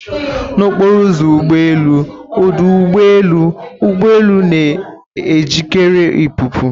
na okporo ụzọ ụgbọ elu ọdụ ụgbọ elu, ụgbọ elu na-ejikere ịpụpụ